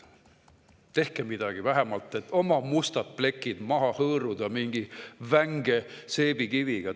Tehke midagi, et vähemalt oma mustad plekid maha hõõruda mingi vänge seebikiviga.